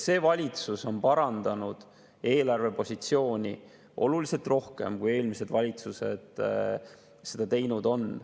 See valitsus on parandanud eelarvepositsiooni oluliselt rohkem, kui eelmised valitsused seda teinud on.